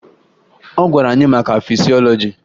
Ọ gwara anyị maka fisiọlọji